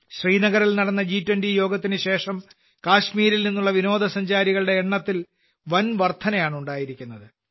ശ്രീനഗറിൽ നടന്ന ജി20 യോഗത്തിന് ശേഷം കശ്മീരിൽ നിന്നുള്ള വിനോദസഞ്ചാരികളുടെ എണ്ണത്തിൽ വൻവർധനവാണ് ഉണ്ടായിരിക്കുന്നത്